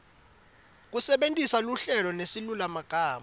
kusebentisa luhlelo nesilulumagama